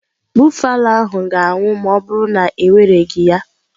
Buffalo ahụ ga-anwụ ma ọ bụrụ na ewereghị ya.